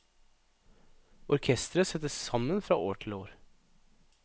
Orkestret settes sammen fra år til år.